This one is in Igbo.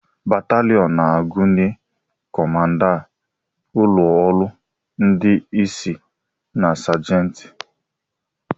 Bataliọn na-agụnye kọmanda, ụlọ ọrụ ndị isi na sajenti.